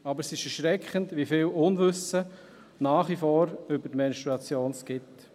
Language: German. Aber es ist erschreckend, wie viel Unwissen es nach wie vor über die Menstruation gibt.